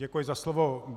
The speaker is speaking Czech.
Děkuji za slovo.